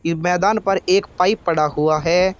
मैदान पर एक पाइप पड़ा हुआ है।